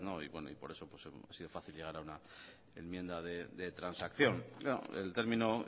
y por eso ha sido fácil llegar a una enmienda de transacción el término